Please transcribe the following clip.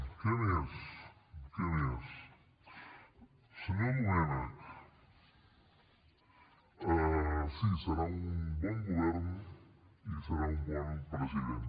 què més què més senyor domènech sí serà un bon govern i serà un bon president